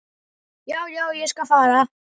Já, já, ég skal fara.